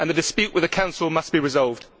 The dispute with the Council must be resolved.